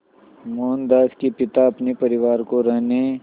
मोहनदास के पिता अपने परिवार को रहने